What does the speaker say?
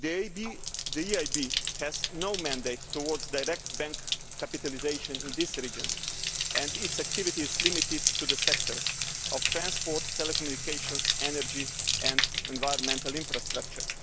The EIB has no mandate towards direct bank capitalisation in this region and its activity is limited to the sectors of transport, telecommunications, energy and environmental infrastructure.